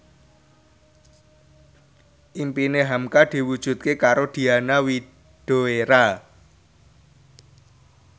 impine hamka diwujudke karo Diana Widoera